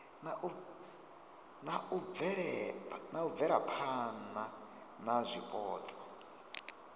na u bvelaphana na zwipotso